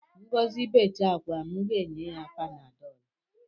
Ngọzi becha akwa, m nye ya panadọl